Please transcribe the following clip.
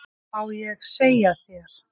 Má ég segja þér.